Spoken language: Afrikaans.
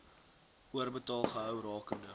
oorbetaal gehou rakende